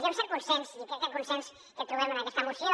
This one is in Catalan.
hi ha un cert consens i crec que el consens que trobem en aquesta moció